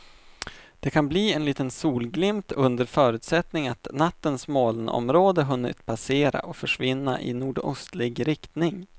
Det kan bli en liten solglimt under förutsättning att nattens molnområde hunnit passera och försvinna i nordostlig riktning.